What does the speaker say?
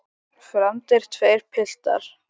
Fermdir verða tveir piltar.